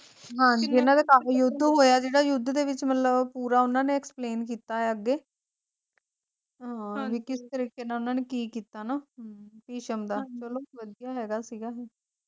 ਹਾਂਜੀ ਇਹਨਾਂ ਦਾ ਕਾਫੀ ਯੁੱਧ ਹੋਇਆ ਜਿਹੜਾ ਯੁੱਧ ਦੇ ਵਿੱਚ ਮਤਲਬ ਪੂਰਾ ਉਹਨਾਂ ਨੇ explain ਕੀਤਾ ਆ ਅੱਗੇ ਹਾਂ ਵੀ ਕਿਸ ਤਰੀਕੇ ਨਾਲ ਉਹਨਾਂ ਨੇ ਕੀ ਕੀਤਾ ਹਨਾਂ ਭਿਸ਼ਮ ਦਾ ਚਲੋ ਵਧੀਆ ਹੈਗਾ ਸੀਗਾ